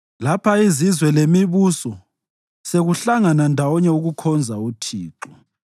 lapha izizwe lemibuso sekuhlangana ndawonye ukukhonza uThixo.